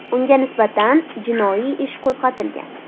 Unga nisbatan jinoiy ish qo‘zg‘atilgan .